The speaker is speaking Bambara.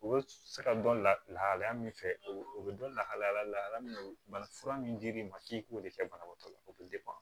U bɛ se ka dɔn lahalaya min fɛ o bɛ dɔn lahalaya lahalaya min banafura min dir'i ma k'i k'o de kɛ banabaatɔ la o bɛ